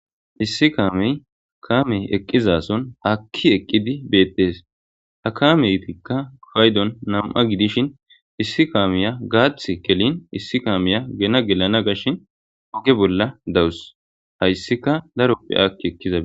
issi kaamey kaamey eqqizason hakki eqqidi beettees ha kameytikka faydon nam7a gidishin issi kaameya gaath kelin issi kaameya gena gelana gashshin oge bolla dawus hayssika daroppe akki ekkiza